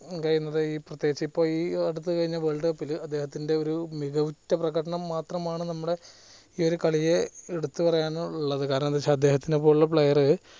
കഴിയുന്നത് ഈ പ്രേത്യേഗിച് ഇപ്പൊ ഈ അടുത്ത് കഴിഞ്ഞ world cup ല് അദ്ദേഹത്തിന്റെ ഒരു മികവുറ്റ പ്രകടനം മാത്രമാണ് നമ്മുടെ ഈ ഒരു കളിയെ എടുത്ത് പറയാനുള്ളത് കാരണം എന്തവെച്ച അദ്ദേഹത്തിനെ പോലുള്ള player